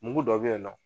Mugu dɔ be yen nɔ